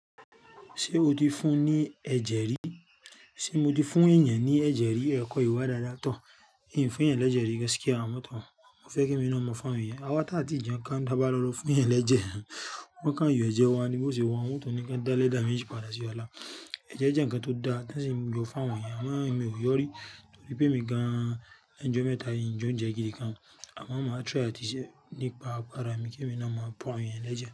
Ṣé o ti fún ní ẹ̀jẹ̀ rí? Sé mo ti fún èèyàn ní ẹ̀jẹ̀ rí? Ẹ̀ kọ́ yoba dáadáa tọ̀. Ìn fún èèyàn le je ri gaskia, àmọ́ tó mo fẹ́ kí èmi ná máa fún àwọn àwa tá ti jẹun ka nu tá bá lọ fún yàn ní ẹ̀jẹ̀. Wọ́n ká ń yọ ẹ̀jẹ̀ wa ni bó ṣe wọ́n. Wọ́n tò ní kí n dá léda méjì padà sí ọ̀la. Ẹ̀jẹ̀ jẹ́ ǹkan tó da tí ń yọ fún àwọn èèyàn àmọ́ èmi ò yọ rí torí pé mi gan-an leńu jo mẹ́ta yìí, ìn jẹ oúnjẹ gidi kan. Àmọ́ màá try àti ṣe nípa ara mi kí èmi náà máa pọ̀ àwọn èèyàn l'ẹ́jẹ̀